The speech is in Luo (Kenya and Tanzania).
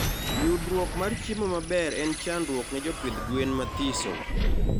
Yudruok mar chiemo maber en chandruok ne jopidh gwen mathiso